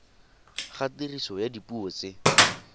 ga tiriso ya dipuo tse